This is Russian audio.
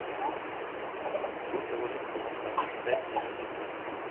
курсы валют в казахстане пять семьдесят пять